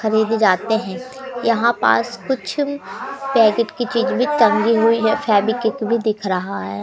खरीदे जाते है यहां पास कुछ पैकेट की चीज भी टंगी हुई है फेवीक्विक भी दिख रहा है।